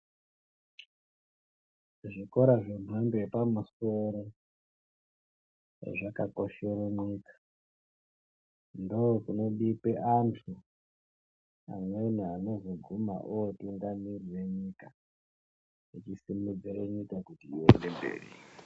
Zvikora zvemhando yepamusoro zvakakoshera nyika. Ndokuno bikwa antu amweni anozoguma otungamirira nyika vachisumudzira nyika iende mberi.